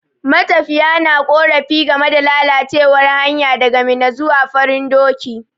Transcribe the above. Matafiya na ƙorafi game da lalacewar hanya daga Minna zuwa Farin doki.